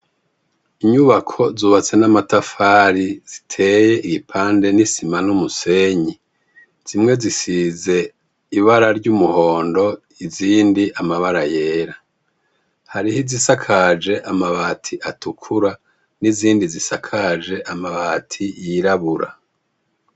Inyubako zubatse n'amatafari ziteye igipande n'isima n'umusenyi zimwe zisize ibara ry'umuhondo izindi amabara yera, hariho izisakaje amabati atukura n'izindi zisakaje amabati yirabura.